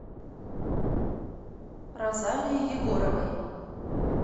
розалии егоровой